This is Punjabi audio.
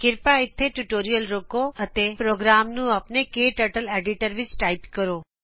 ਕ੍ਰਿਪਾ ਇਥੇ ਟਯੂਟੋਰਿਅਲ ਰੋਕੋ ਅਤੇ ਪ੍ਰੋਗਰਾਮ ਨੂੰ ਆਪਨੇ ਕਟਰਟਲੀਡੀਟਰ ਵਿੱਚ ਟਾਇਪ ਕਰੋਂ